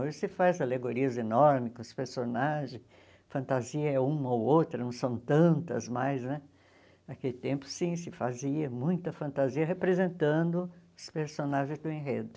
Hoje se faz alegorias enormes com os personagens, fantasia é uma ou outra, não são tantas mais né, naquele tempo sim, se fazia muita fantasia representando os personagens do enredo.